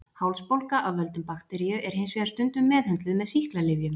Hálsbólga af völdum bakteríu er hins vegar stundum meðhöndluð með sýklalyfjum.